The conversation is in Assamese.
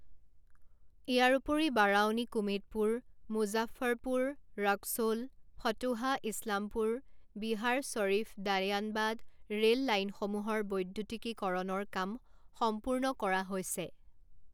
ইয়াৰোপৰি বাৰাউনী কুমেদপুৰ, মুজফ্ফৰপুৰ ৰক্সোল, ফতুহা ইছলামপুৰ, বিহাৰ শ্বৰীফ দানিয়াবান ৰে ল লাইনসমূহৰ বৈদ্যুতিকীকৰণৰ কাম সম্পূৰ্ণ কৰা হৈছে।